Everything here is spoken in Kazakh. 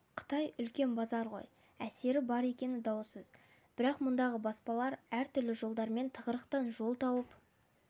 қытай үлкен базар ғой әсері бар екені даусыз бірақ мұндағы баспалар әртүрлі жолдармен тығырықтан жол тауып